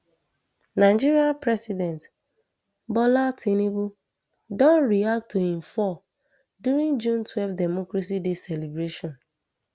nigeria president bola tinubu don react to im fall during june twelve democracy day celebration